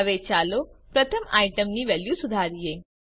હવે ચાલો પ્રથમ આઈટમ ની વેલ્યુ સુધારીએ